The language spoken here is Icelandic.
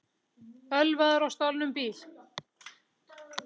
Ölvaður á stolnum bíl